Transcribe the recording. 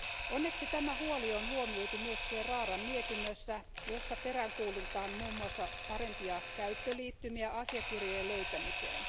Onneksi tämä huoli on huomioitu myös Ferraran mietinnössä, jossa peräänkuulutetaan muun muassa parempia käyttöliittymiä asiakirjojen löytämiseen.